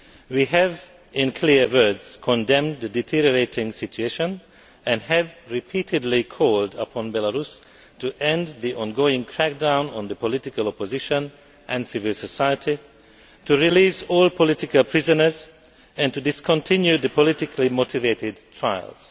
We have in clear words condemned the deteriorating situation and have repeatedly called upon Belarus to end the ongoing crackdown on the political opposition and civil society, release all political prisoners and discontinue the politically motivated trials.